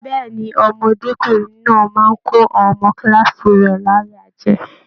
Bẹẹni, ọmọdekunrin náà máa n kò àwọn ọmọ kilaasi rẹ láyà jẹ.